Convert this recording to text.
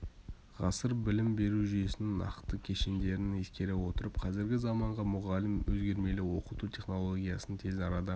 ғасыр білім беру жүйесінің нақты кешендерін ескере отырып қазіргі заманғы мұғалім өзгермелі оқыту технологиясын тез арада